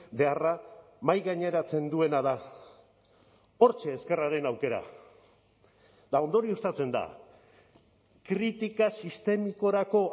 beharra mahaigaineratzen duena da hortxe ezkerraren aukera eta ondorioztatzen da kritika sistemikorako